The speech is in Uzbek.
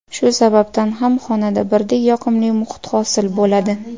Shu sababdan ham xonada birdek yoqimli muhit hosil bo‘ladi.